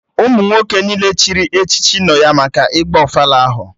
Ụmụ nwoke niile chịrị echichi nọ ya maka ịgba ofala ahụ